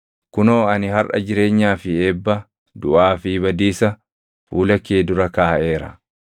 Kunoo ani harʼa jireenyaa fi eebba, duʼaa fi badiisa fuula kee dura kaaʼeera.